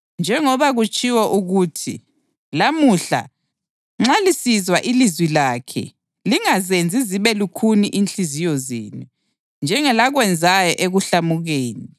Njengoba kutshiwo ukuthi: “Lamuhla nxa lisizwa ilizwi lakhe, lingazenzi zibe lukhuni inhliziyo zenu njengelakwenzayo ekuhlamukeni.” + 3.15 AmaHubo 95.7-8